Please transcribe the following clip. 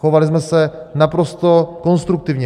Chovali jsme se naprosto konstruktivně.